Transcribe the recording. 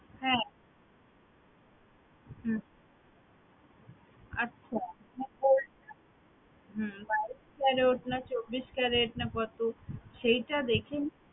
হ্যাঁ হম আচ্ছা হম বাইশ carat না চব্বিশ carat না কত সেইটা দেখে